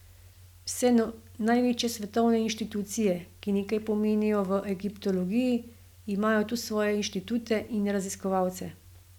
Vse največje svetovne inštitucije, ki nekaj pomenijo v egiptologiji, imajo tu svoje inštitute in raziskovalce.